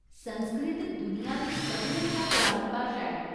संस्कृत दुनिया दी सभनें शा परानी भाशा ऐ।